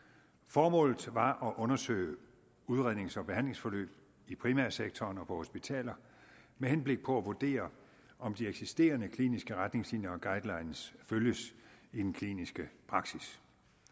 formålet var at undersøge udrednings og behandlingsforløb i primærsektoren og på hospitaler med henblik på at vurdere om de eksisterende kliniske retningslinjer og guidelines følges i den kliniske praksis